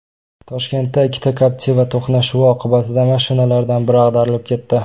Toshkentda ikkita Captiva to‘qnashuvi oqibatida mashinalardan biri ag‘darilib ketdi .